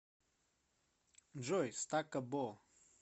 джой стакка бо